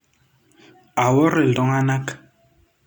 Awor ltunganak.